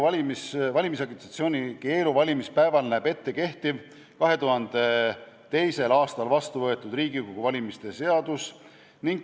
Valimisagitatsiooni keelu valimispäeval näeb ette kehtiv, 2002. aastal vastu võetud Riigikogu valimise seadus.